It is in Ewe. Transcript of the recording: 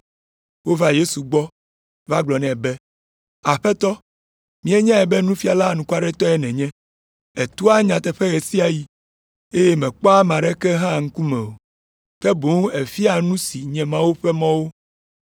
Wova Yesu gbɔ va gblɔ nɛ be, “Aƒetɔ, míenyae be nufiala anukwaretɔe nènye. Ètoa nyateƒe ɣe sia ɣi, eye mèkpɔa ame aɖeke hã ŋkume o, ke boŋ èfiaa nu si nye Mawu ƒe mɔwo.